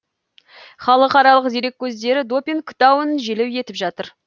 халықаралық дереккөздер допинг дауын желеу етіп жатыр